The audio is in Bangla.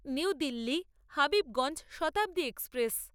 new Delhi Habibganj Shatabdi express